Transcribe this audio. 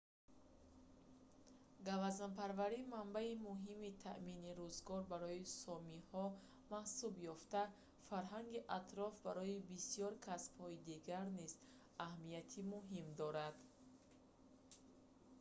гавазнпарварӣ манбаи муҳими таъмини рӯзгор барои сомиҳо маҳсуб ёфта фарҳанги атроф барои бисёр касбҳои дигар низ аҳамияти муҳим дорад